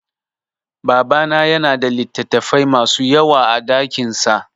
Babana ya na da littattafai ma su yawa a dakinsa